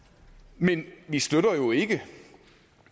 men vi støtter jo ikke